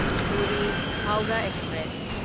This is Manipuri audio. ꯄꯨꯔꯤ ꯍꯧꯔꯥ ꯑꯦꯛꯁꯄ꯭ꯔꯦꯁ